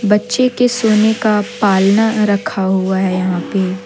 बच्चे के सोने का पालना रखा हुआ है यहां पे।